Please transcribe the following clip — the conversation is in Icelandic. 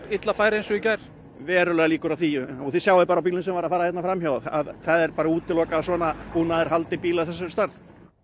illa færi eins og í gær verulegar líkur á því og þið sjáið bara á bílnum sem var að fara hérna fram hjá að það er bara útilokað að svona búnaðar haldi bíl af þessari stærð